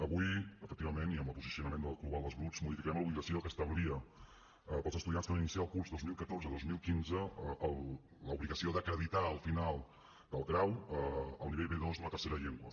avui efectivament i amb el posicionament global dels grups modificarem l’obligació que establia per als estudiants que van iniciar el curs el dos mil catorze dos mil quinze l’obligació d’acreditar al final del grau el nivell b2 d’una tercera llengua